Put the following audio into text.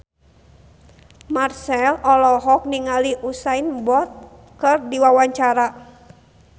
Marchell olohok ningali Usain Bolt keur diwawancara